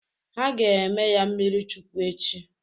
Ha ga-eme ya mmiri Chukwu echi.